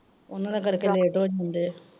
ਉਹਨਾਂ ਦੇ ਕਰ ਕੇ late ਹੋ ਜਾਂਦੇ ਆ।